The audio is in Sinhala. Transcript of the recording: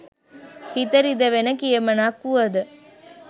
හිත රිදවෙන කියමනක් වුවද